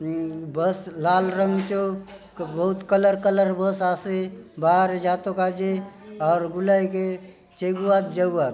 ये बस लाल रंग चो बहुत कलर कलर बस आसे बाहरे जातो काजे आउर गुलाय चेगुआत जाऊआत --